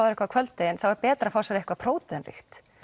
eitthvað á kvöldin þá er betra að fá sér eitthvað próteinríkt